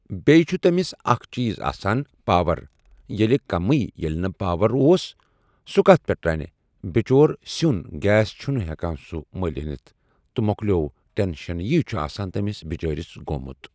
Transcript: بیٚیہِ چھِ تٔمِس اَکھ چیٖز آسان پاوَر ییٚلہِ کمی ییٚلہِ نہٕ پاوَر اوس سُہ کتھ پٮ۪ٹھ رنہِ بِچور سیُٚن گیس چھُنہٕ ہٮ۪کان سُہ مٔلۍ أنِتھ تہٕ مَۄکلیو ٹٮ۪نشن یی چھِ آسان تٔمِس بِچٲرِس گوٚمُت